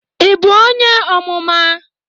Ị bụ onye Ọmụma?